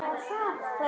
HEIMA Á HÓLUM